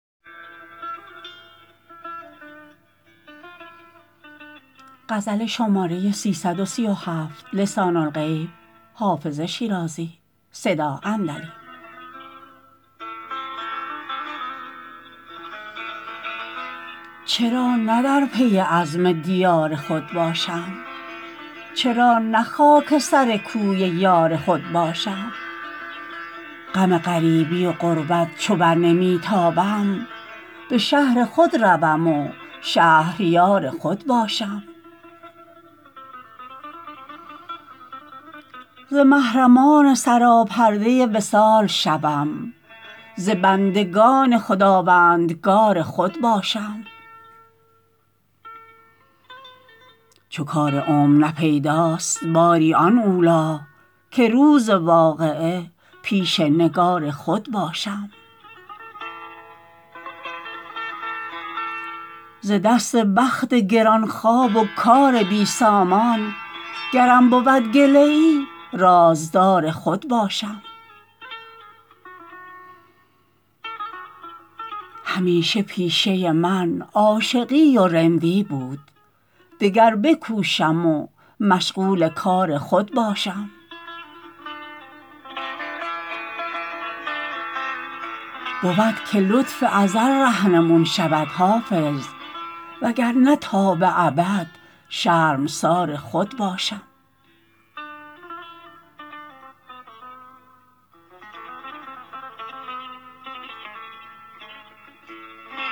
چرا نه در پی عزم دیار خود باشم چرا نه خاک سر کوی یار خود باشم غم غریبی و غربت چو بر نمی تابم به شهر خود روم و شهریار خود باشم ز محرمان سراپرده وصال شوم ز بندگان خداوندگار خود باشم چو کار عمر نه پیداست باری آن اولی که روز واقعه پیش نگار خود باشم ز دست بخت گران خواب و کار بی سامان گرم بود گله ای رازدار خود باشم همیشه پیشه من عاشقی و رندی بود دگر بکوشم و مشغول کار خود باشم بود که لطف ازل رهنمون شود حافظ وگرنه تا به ابد شرمسار خود باشم